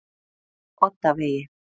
Oddavegi